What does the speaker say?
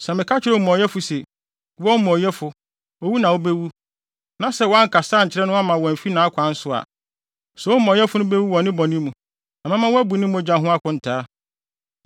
Sɛ meka kyerɛ omumɔyɛfo se, ‘Wo omumɔyɛfo, owu na wubewu,’ na sɛ woankasa ankyerɛ no amma wamfi nʼakwan so a, saa omumɔyɛfo no bewu ne bɔne mu, na mɛma woabu ne mogya ho akontaa.